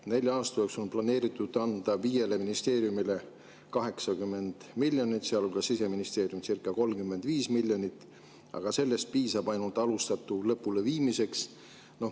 Nelja aasta jooksul on planeeritud anda viiele ministeeriumile 80 miljonit, sealhulgas Siseministeeriumile circa 35 miljonit, aga sellest piisab ainult alustatu lõpuleviimiseks.